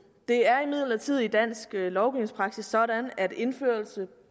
det er imidlertid i dansk lovgivningspraksis sådan at indførelse